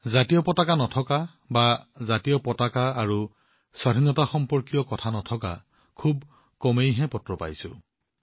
ত্ৰিৰংগা নথকা বা ত্ৰিৰংগা আৰু স্বাধীনতাসম্পৰ্কীয় কোনো কথা নাই বুলি মই খুউব কমেই কোনো পত্ৰ পাইছোঁ